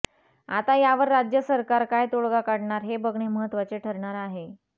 आता यावर राज्य सरकार काय तोडगा काढणार हे बघणे महत्त्वाचे ठरणार आहे